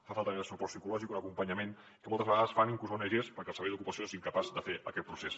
fa falta més suport psicològic un acompanyament que moltes vegades fan inclús ongs perquè el servei d’ocupació és incapaç de fer aquest procés